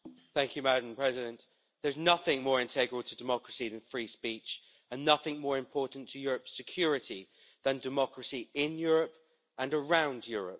Madam President, there's nothing more integral to democracy than free speech, and nothing more important to Europe's security than democracy in Europe and around Europe.